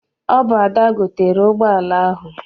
Ọ bụ Ada gotere ụgbọala ahụ.